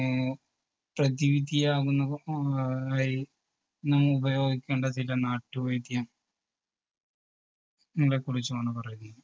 നെയോ പ്രതിവിധിയാകുന്ന ആ നമ്മൾ ഉപയോഗിക്കേണ്ട ചില നാട്ടുവൈദ്യം ങ്ങളെ കുറിച്ചുമാണ് പറയുന്നത്.